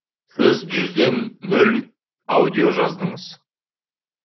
сіз жүзден нөл аудио жаздыңыз